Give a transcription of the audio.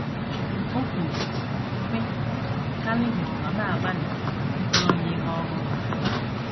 O kwuru, sị: “ Calvin nọ na - agbalị ịkọrọ m ihe ọ hụrụ.